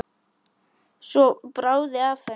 Svo bráði af henni.